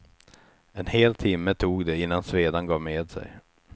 En hel timme tog det innan svedan gav med sig.